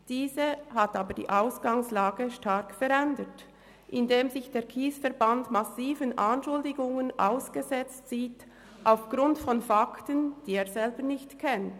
Diese hat aber die Ausgangslage stark verändert, indem sich der KSE Bern massiven Anschuldigungen ausgesetzt sieht – aufgrund von Fakten, die er selber nicht kennt.